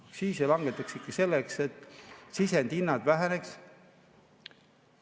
Aktsiise langetatakse ikka selleks, et sisendhinnad väheneks.